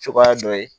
Cogoya dɔ ye